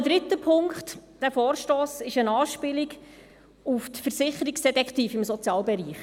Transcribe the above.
Ein dritter Punkt: Dieser Vorstoss ist eine Anspielung auf die Versicherungsdetektive im Sozialbereich.